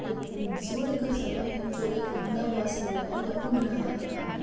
ये उ सूर्य का समय है जो ये उगना हुआ सूर्य है या उग रहा है अभी।